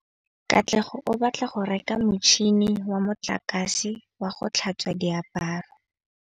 Katlego o batla go reka motšhine wa motlakase wa go tlhatswa diaparo.